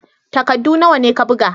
Takaddu nawa ne ka buga?l